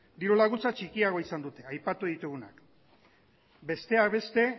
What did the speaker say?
diru laguntzak txikiagoa izan dute aipatu ditugunak besteak beste